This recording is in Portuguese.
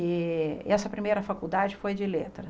E essa primeira faculdade foi de letra.